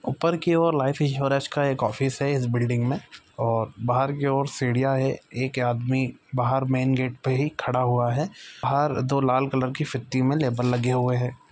ऊपर की और लाइफ इन्श्योरेन्स का एक ऑफिस है इस बिल्डिंग मे और बाहर की और सीढ़ियां है एक आदमी बाहर मेन गेट पे ही खड़ा हुआ है बाहर दो लाल कलर की फीति में लेबल लगी हुई है।